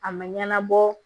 A ma ɲɛnabɔ